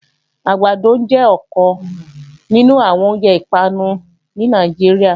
Àgbàdo jẹ́ ọ̀kan nínú àwọn oúnjẹ ìpanu ní Nàìjíríà